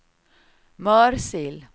Mörsil